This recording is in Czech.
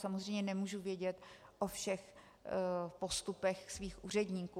Samozřejmě nemůžu vědět o všech postupech svých úředníků.